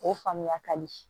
O faamuya ka di